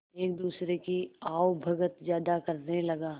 एक दूसरे की आवभगत ज्यादा करने लगा